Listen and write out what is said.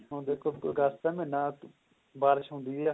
ਹੁਣ ਦੇਖੋ ਅਗਸਤ ਦਾ ਮਹੀਨਾ ਬਾਰਿਸ਼ ਹੁੰਦੀ ਹੈ